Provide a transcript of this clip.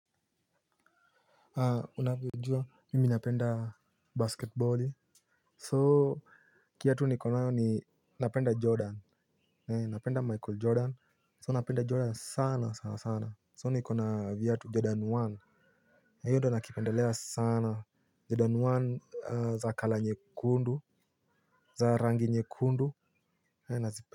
Unavyojua mimi napenda basketballi So kiatu nikonayo ni napenda jordan. Napenda michael jordan So napenda jordan sana sana sana sana So nikona viatu jordan one nakipendelea sana Jordan one za kalanyekundu. Za rangi nyekundu na zipe.